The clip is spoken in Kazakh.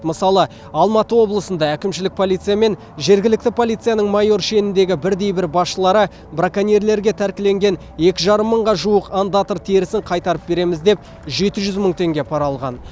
мысалы алматы облысында әкімшілік полиция мен жергілікті полицияның майор шеніндегі бірдей бір басшылары браконьерлерге тәркіленген екі жарым мыңға жуық ондатра терісін қайтарып береміз деп жеті жүз мың теңге пара алған